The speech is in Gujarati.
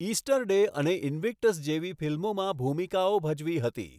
ઇસ્ટરડે અને ઇન્વિક્ટસ જેવી ફિલ્મોમાં ભૂમિકાઓ ભજવી હતી.